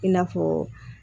I n'a fɔ